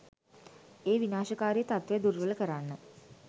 ඒ විනාශකාරී තත්ත්වය දුර්වල කරන්න